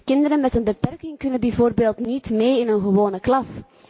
Kinderen met een beperking kunnen bijvoorbeeld niet mee in een gewone klas.